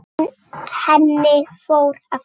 Henni fór aftur.